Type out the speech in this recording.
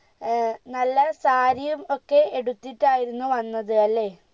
ഏർ നല്ല സാരിയും ഒക്കെ എടിത്തിട്ടായിരുന്നു വന്നത് അല്ലെ